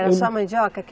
Era só mandioca?